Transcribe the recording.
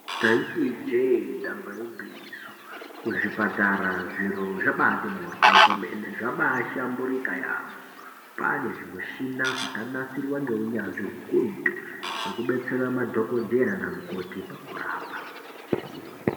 Taiti ijee, damba igwinyiso, kuzvipatara zviro zvambati mhorwo kwemene, zvambahlamburika yaamho. Kwane zvimishina zvakanasirwa neunyanzvi hukurutu, zvekubetsera madhokodheya namukoti pakurapa.